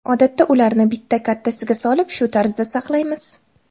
Odatda ularni bitta kattasiga solib, shu tarzda saqlaymiz.